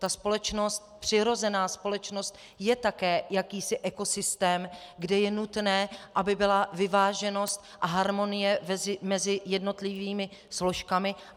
Ta společnost, přirozená společnost je také jakýsi ekosystém, kde je nutné, aby byla vyváženost a harmonie mezi jednotlivými složkami.